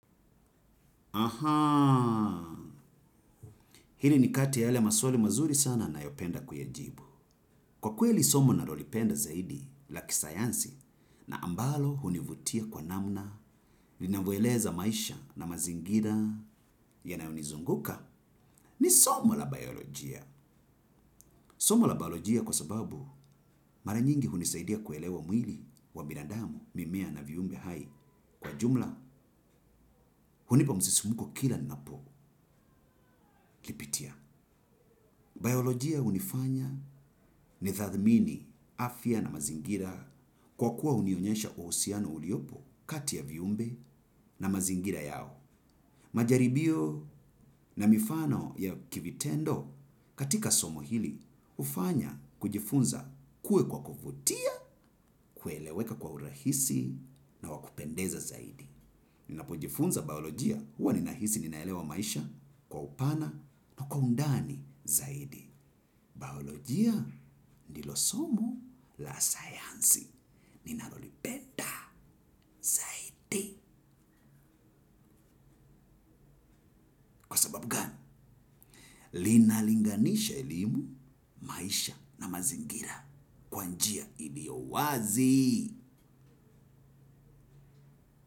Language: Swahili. Hili ni kati yale maswali mazuri sana nayopenda kuyajibu. Kwa kweli somo nalolipenda zaidi la kisayansi na ambalo hunivutia kwa namna, linavueleza maisha na mazingira yanaonizunguka ni somo la biolojia. Somo la biolojia kwa sababu maranyingi hunisaidia kuelewa mwili wa binadamu mimea na viumbe hai kwa jumla hunipa mzisimuko kila napo lipitia. Biolojia unifanya ni thadhmini afia na mazingira kwa kuwa unionyesha uhusiano uliopo kati ya viumbe na mazingira yao. Majaribio na mifano ya kivitendo katika somo hili ufanya kujifunza kue kwa kufutia, kueleweka kwa urahisi na wakupendeza zaidi. Ninapojifunza baolojia huwa ninahisi ninaelewa maisha kwa upana na kwa undani zaidi. Baolojia ndilo somo la science. Ninalolipenda zaidi kwasababu gani, linalinganisha elimu maisha na mazingira kwa njia iliyo wazi.